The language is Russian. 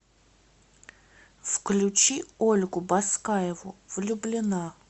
включи ольгу баскаеву влюблена